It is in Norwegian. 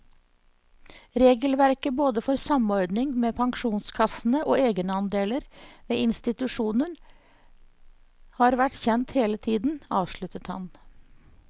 Regelverket både for samordning med pensjonskassene og egenandeler ved institusjoner har vært kjent hele tiden, avsluttet han.